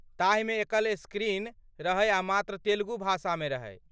ताहिमे एकल स्क्रीन रहै आ मात्र तेलगु भाषामे रहै।